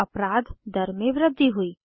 और अपराध दर में वृद्धि हुई